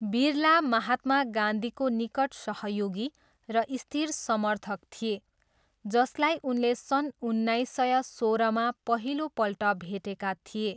बिरला महात्मा गान्धीको निकट सहयोगी र स्थिर समर्थक थिए, जसलाई उनले सन् उन्नाइस सय सोह्रमा पहिलोपल्ट भेटेका थिए।